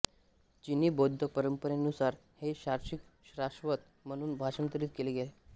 चिनी बौद्ध परंपरेनुसार हे शीर्षक शाश्वत म्हणून भाषांतरित केले आहे